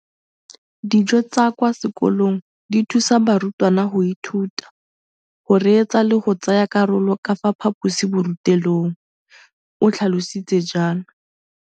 Dijo tsa kwa sekolong dithusa barutwana go ithuta, go reetsa le go tsaya karolo ka fa phaposiborutelong, o tlhalositse jalo.